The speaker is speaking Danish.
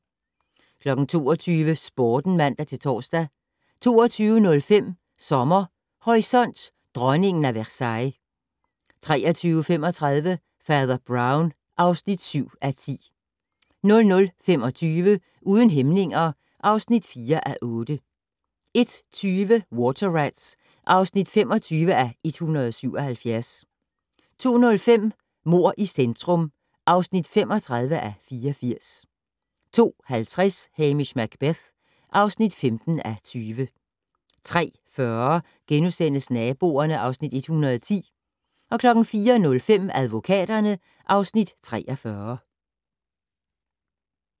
22:00: Sporten (man-tor) 22:05: Sommer Horisont: Dronningen af Versailles 23:35: Fader Brown (7:10) 00:25: Uden hæmninger (4:8) 01:20: Water Rats (25:177) 02:05: Mord i centrum (35:84) 02:50: Hamish Macbeth (15:20) 03:40: Naboerne (Afs. 110)* 04:05: Advokaterne (Afs. 43)